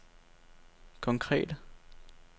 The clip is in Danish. konkrete